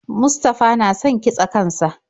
Mustafa na son kitse kan sa.